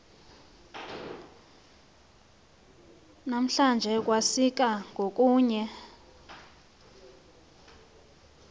namhlanje kwasika ngokunye